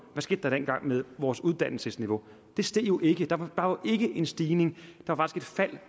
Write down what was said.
med vores uddannelsesniveau det steg jo ikke der var ikke en stigning